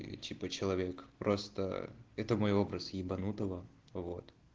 типа человек просто это мой образ ебанутого вот